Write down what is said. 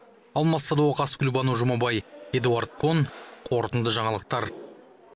алмас садуақас гүлбану жұмабай эдуард кон қорытынды жаңалықтар